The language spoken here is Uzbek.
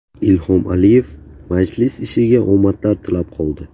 Ilhom Aliyev majlis ishiga omadlar tilab qoldi.